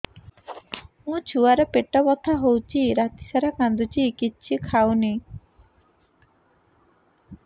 ମୋ ଛୁଆ ର ପେଟ ବଥା ହଉଚି ରାତିସାରା କାନ୍ଦୁଚି କିଛି ଖାଉନି